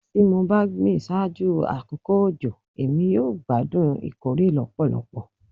Ti mo ba gbin ṣaaju akoko ojo Emi yoo ti gbadun ikore lọpọlọpọ